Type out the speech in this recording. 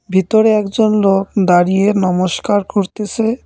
ভেতরে একজন লোক দাঁড়িয়ে নমস্কার করতেসে।